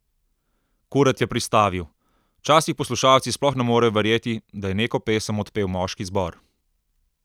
Kuret je pristavil: "Včasih poslušalci sploh ne morejo verjeti, da je neko pesem odpel moški zbor.